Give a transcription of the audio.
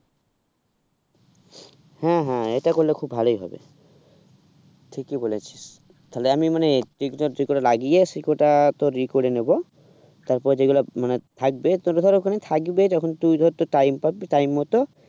হ্যাঁ হ্যাঁ এটা করলে খুব ভালোই হবে ঠিকই বলেছিস তাহলে আমি মানে বীজ কটা লাগিয়ে সে কটা তোর কি করে নেব তারপর যেগুলো মানে থাকবে থাকবে তখন তুই ধর time পাবি time মতো